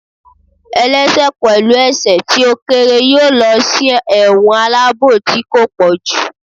ẹlẹṣẹ pẹlu ẹsẹ ti o kere yọọ losí ẹwọ́n alabò tí ko pojú